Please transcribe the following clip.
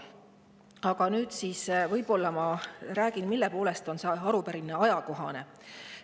Aga nüüd võib-olla räägin sellest, mille poolest on see arupärimine ajakohane.